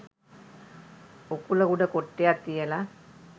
උකුල උඩ කොට්ටයක් තියල